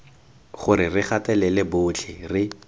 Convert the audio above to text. gore re gatelela botlhe re